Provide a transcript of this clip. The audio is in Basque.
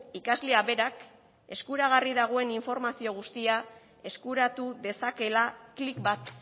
ikasleak berak eskuragarri dagoen informazio guztia eskuratu dezakeela klik bat